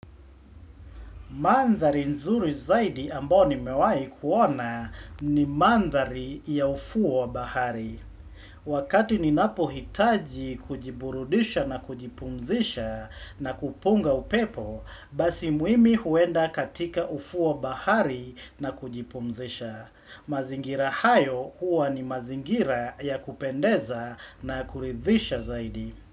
Mandhari nzuri zaidi ambao nimewai kuona ni mandhari ya ufuo wa bahari. Wakati ninapohitaji kujiburudisha na kujipumzisha na kupunga upepo, basi mimi huenda katika ufuo wa bahari na kujipumzisha. Mazingira hayo huwa ni mazingira ya kupendeza na kuridhisha zaidi.